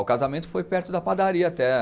O casamento foi perto da padaria até.